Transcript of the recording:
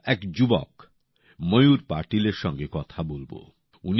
আজ আমরা এক যুবক ময়ূর পাটিলের সঙ্গে কথা বলব